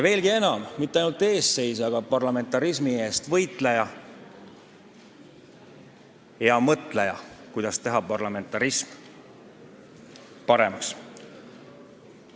Veelgi enam: mitte ainult eestseisja, vaid ka parlamentarismi eest võitleja ja mõtleja, kuidas parlamentarismi paremaks teha.